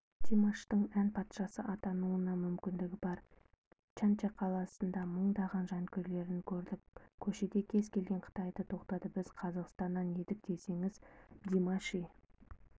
димаштың ән патшасы атануына мүмкіндігі бар чанша қаласында мыңдаған жанкүйерлерін көрдік көшеде кез келген қытайды тоқтатып біз қазақстаннан едік десеңіз димаши